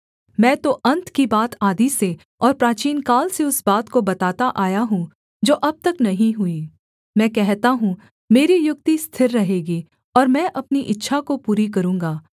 मैं तो अन्त की बात आदि से और प्राचीनकाल से उस बात को बताता आया हूँ जो अब तक नहीं हुई मैं कहता हूँ मेरी युक्ति स्थिर रहेगी और मैं अपनी इच्छा को पूरी करूँगा